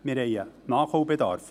– Wir haben einen Nachholbedarf.